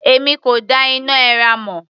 Èmi kò dá iná èèrà mọ̀.